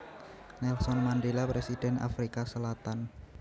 Nelson Mandela Presiden Afrika Selatan